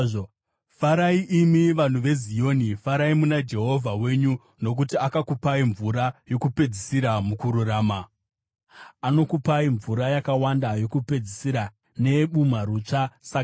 Farai imi vanhu veZioni, farai muna Jehovha Mwari wenyu, nokuti akakupai mvura yokupedzisira mukururama. Anokupai mvura yakawanda, yokupedzisira neyebumharutsva sakare.